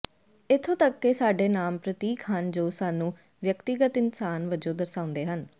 ਇੱਥੋਂ ਤਕ ਕਿ ਸਾਡੇ ਨਾਮ ਪ੍ਰਤੀਕ ਹਨ ਜੋ ਸਾਨੂੰ ਵਿਅਕਤੀਗਤ ਇਨਸਾਨ ਵਜੋਂ ਦਰਸਾਉਂਦੇ ਹਨ